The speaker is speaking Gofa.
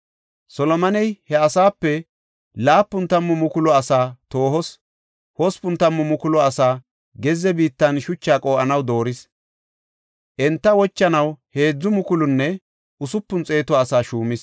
Solomoney he asaape laapun tammu mukulu asaa toohos, hospun tammu mukulu asaa gezze biittan shucha qoo7anaw dooris; enta kalanaw heedzu mukulunne usupun xeetu asaa shuumis.